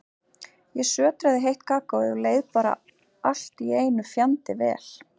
Ég sötraði heitt kakóið og leið bara allt í einu fjandi vel.